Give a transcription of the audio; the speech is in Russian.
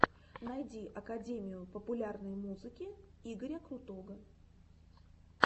найди академию популярной музыки игоря крутого